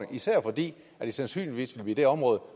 især fordi det sandsynligvis vil blive det område